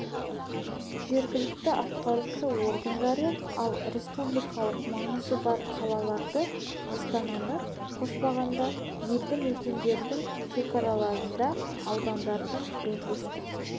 жергілікті атқарушы органдары ал республикалық маңызы бар қалаларды астананы қоспағанда елді мекендердің шекараларында аудандардың облыстық